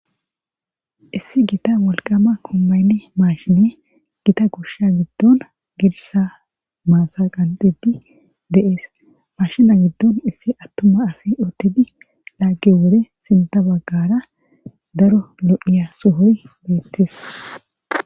issi gita wolqama kommaynne maashine gita goshsha giddon girsa maasa qanxidi deees mashina giddon issi attuma asi ottidi laagge wore sinta baggara daro lo7iya suhoy beettees